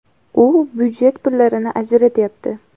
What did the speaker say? U budjet pullarini ajratayapti.